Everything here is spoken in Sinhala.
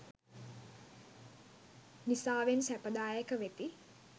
නිසාවෙන් සැපදායක වෙති.